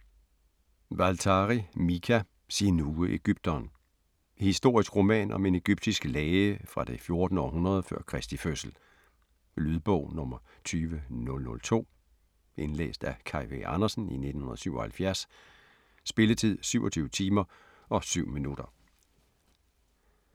Waltari, Mika: Sinuhe ægypteren Historisk roman om en egyptisk læge fra det 14. århundrede før Kristi fødsel. Lydbog 20002 Indlæst af Kaj V. Andersen, 1977. Spilletid: 27 timer, 7 minutter.